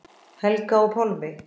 Helga og Pálmi.